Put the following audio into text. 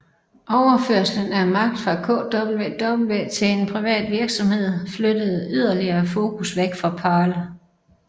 Overførslen af magt fra KWV til en privat virksomhed flyttede yderligere fokus væk fra Paarl